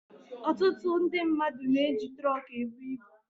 Ọtụtụ ndị mmadụ na-eji tụrọkụ ebu ibu.